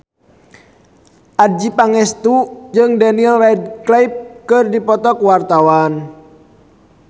Adjie Pangestu jeung Daniel Radcliffe keur dipoto ku wartawan